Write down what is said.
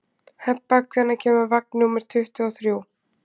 Hebba, hvenær kemur vagn númer tuttugu og þrjú?